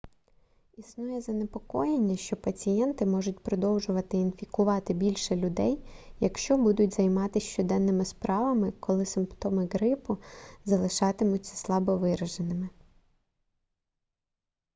існує занепокоєння що пацієнти можуть продовжувати інфікувати більше людей якщо будуть займатись щоденними справами коли симптоми грипу залишатимуться слабовираженими